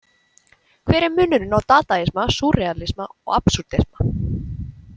Hver er munurinn á dadaisma, súrrealisma og absúrdisma?